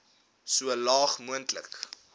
so laag moontlik